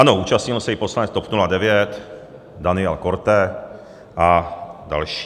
Ano, účastnil se i poslanec TOP 09 Daniel Korte a další.